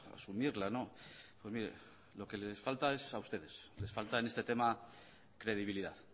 asumirla pues mire lo que les falta es a ustedes les falta en este tema credibilidad